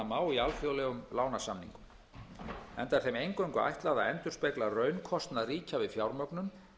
má í alþjóðlegum lánasamningum enda er þeim eingöngu ætlað að endurspegla raunkostnað ríkja við fjármögnun